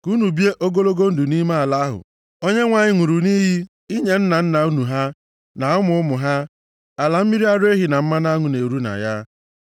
ka unu bie ogologo ndụ nʼime ala ahụ Onyenwe anyị ṅụrụ nʼiyi inye nna nna unu ha, na ụmụ ụmụ ha, ala mmiri ara ehi na mmanụ aṅụ na-eru na ya.